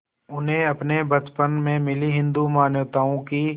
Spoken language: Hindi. उन्हें अपने बचपन में मिली हिंदू मान्यताओं की